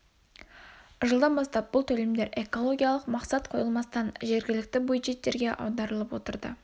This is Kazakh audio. жылдан бастап бұл төлемдер экологиялық мақсат қойылмастан жергілікті бюджеттерге аударылып отырды